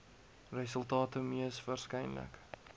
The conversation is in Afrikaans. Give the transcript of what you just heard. resultate mees waarskynlik